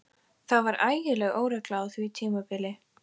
Það var ægileg óregla á því tímabili.